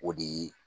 O de